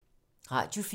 Radio 4